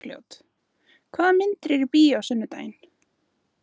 Bergljót, hvaða myndir eru í bíó á sunnudaginn?